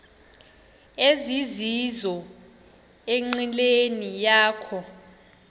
ezizizo enqileni yakho